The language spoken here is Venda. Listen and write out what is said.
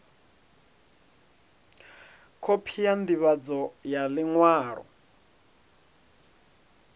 khophi ya ndivhadzo ya liṅwalo